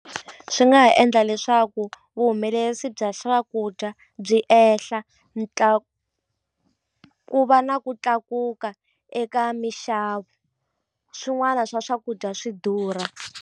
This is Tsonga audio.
Swi nga ha endla leswaku vuhumelerisi bya swakudya byi ehla ku va na ku tlakuka eka mixavo swin'wana swa swakudya swi durha.